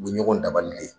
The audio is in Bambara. U bɛ ɲɔgɔn dabali le